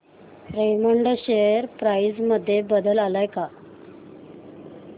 Raymond share price मध्ये बदल आलाय का